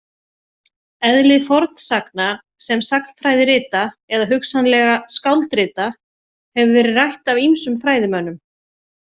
Eðli fornsagna sem sagnfræðirita eða hugsanlega skáldrita hefur verið rætt af ýmsum fræðimönnum.